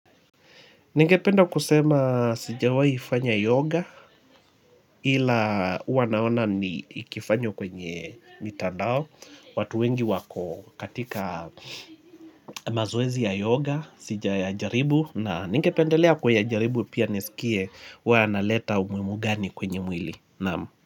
Ningependa kusema sijawai fanya yoga ila huwa naona ni ikifanywa kwenye mitandao. Watu wengi wako katika mazoezi ya yoga sija jaribu na ningependelea kuya jaribu pia nisikie wanaleta umuhimu gani kwenye mwili.